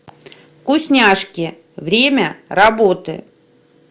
вкусняшки время работы